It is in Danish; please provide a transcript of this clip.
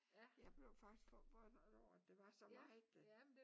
Ja blev faktisk forundret over at der var så meget der